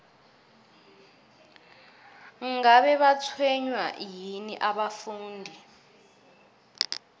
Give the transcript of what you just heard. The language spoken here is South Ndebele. ngabe batshwenywa yini abafundi